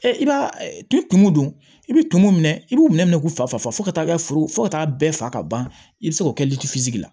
i b'a tumu don i bi tumu minɛ i b'u minɛ minɛ minɛ k'u fa fo ka taa kɛ foro fo ka taa bɛɛ faga ka ban i bɛ se k'o kɛ la